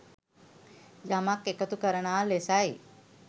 යමක් එකතු කරනා ලෙසයි.